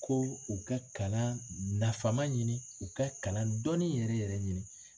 Ko u ka kalan nafama ɲini u ka kalan dɔnni yɛrɛ yɛrɛ ɲini